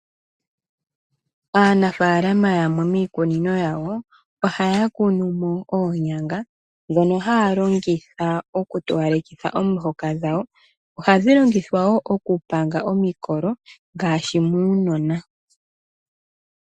Aanafaalama yamwe miikunino yawo ohaya kunumo Oonyanga ndhono haya longitha oku towalekitha omihoka dhawo . Ohadhi longithwa woo okupanga omikolo ngaashi muunona.